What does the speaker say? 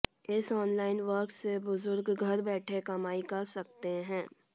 इस online work से बुजुर्ग घर बैठे कमाई कर सकते हैं